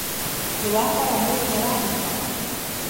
Nĩwakora mwendia wa nduka